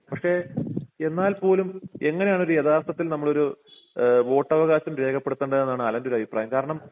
പക്ഷേ എന്നാൽ പോലും എങ്ങനെയാണ് ഒരു യഥാർഥത്തിൽ നമ്മളൊരു ഏഹ് വോട്ടവകാശം രേഖപ്പെടുത്തേണ്ടതെന്നാണ് അലൻ്റെ ഒരു അഭിപ്രായം കാരണം